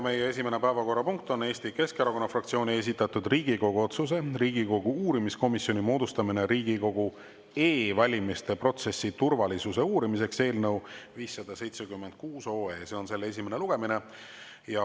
Meie esimene päevakorrapunkt on Eesti Keskerakonna fraktsiooni esitatud Riigikogu otsuse "Riigikogu uurimiskomisjoni moodustamine Riigikogu e-valimiste protsessi turvalisuse uurimiseks" eelnõu 576 esimene lugemine.